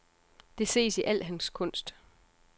Det ses i al hans kunst.